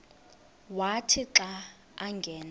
wathi xa angena